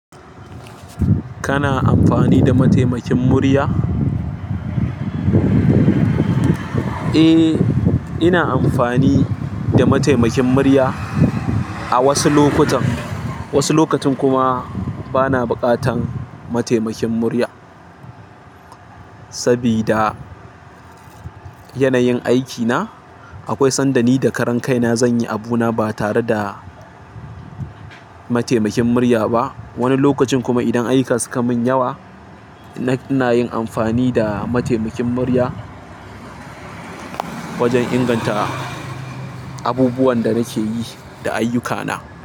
Kana amfani da mataimakin murya? Eh, ina amfani da mataimakin murya a wasu lokutan. Wasu lokutan kuma bana buƙatan mataimakin murya. Sabida yanayin aikina, akwai sanda ni da karan kai na zan yi abuna ba tare da mataimakin murya ba. Wani lokacin kuma idan ayuka suka mun yawa, ina yin amfani da mataimakin murya wajen inganta abubuwan da nake yi da ayyuka na.